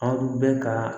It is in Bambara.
Aw bɛ ka